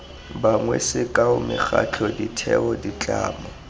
bangwe sekao mekgatlho ditheo ditlamo